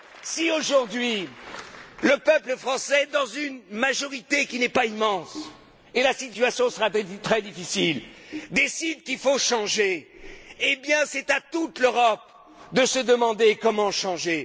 Si aujourd'hui, le peuple français, à une majorité qui n'est pas immense et la situation sera très difficile décide qu'il faut changer, c'est à toute l'Europe de se demander comment changer.